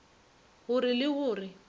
go re le go re